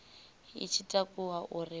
i tshi takuwa uri vha